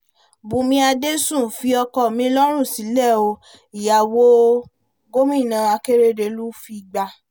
bùnmi adẹ́sùn fi ọkọ mi lọ́rùn sílẹ̀ o -ìyàwó gómìnà akérèdọ́lù figbá